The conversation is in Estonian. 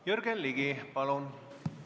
Jürgen Ligi, palun!